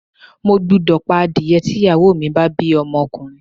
Mo gbúdọ̀ pa adìẹ tí ìyàwó mi bá bí ọmọkùnrin.